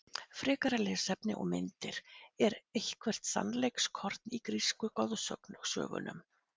Frekara lesefni og myndir Er eitthvert sannleikskorn í grísku goðsögunum?